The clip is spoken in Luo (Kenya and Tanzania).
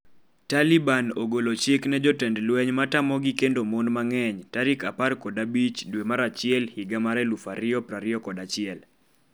Taliban ogolo chik ne jotend lweny matamogi kendo mon mang'eny tarik 15 dwe mar achiel higa mar 2021